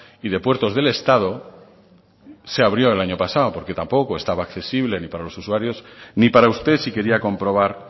y de puertos del estado se abrió el año pasado porque tampoco estaba accesible ni para los usuarios ni para usted si quería comprobar